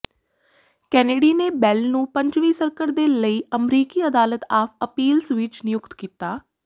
Kennedy ਨੇ Bell ਨੂੰ ਪੰਜਵੀਂ ਸਰਕਟ ਦੇ ਲਈ ਅਮਰੀਕੀ ਅਦਾਲਤ ਆਫ ਅਪੀਲਸ ਵਿਚ ਨਿਯੁਕਤ ਕੀਤਾ